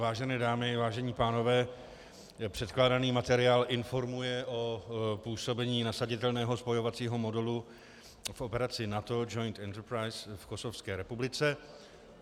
Vážené dámy, vážení pánové, předkládaný materiál informuje o působení nasaditelného spojovacího modulu v operaci NATO Joint Enterprise v Kosovské republice.